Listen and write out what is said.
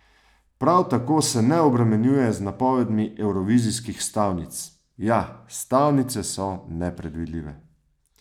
Prav tako se ne obremenjuje z napovedmi evrovizijskih stavnic: "Ja, stavnice so nepredvidljive.